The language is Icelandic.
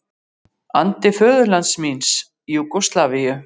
andi föðurlands míns, Júgóslavíu.